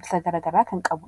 ibsa garaagaraa kan qabudha.